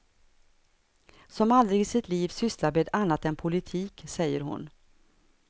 Som aldrig i sitt liv sysslat med annat än politik, säger hon.